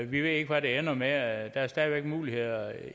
vi ved ikke hvad det ender med for der er stadig muligheder